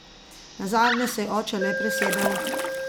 Nazadnje se je oče le presedel.